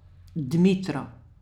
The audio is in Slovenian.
Dmitro.